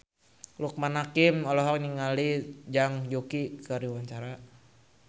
Loekman Hakim olohok ningali Zhang Yuqi keur diwawancara